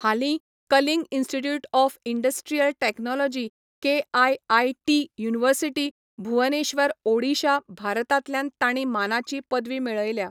हालीं Kalinga Institute of Industrial Technology KIIT University, Bhubaneswar, Odisha, भारतांतल्यान तांणी मानाची पदवी मेळयल्या.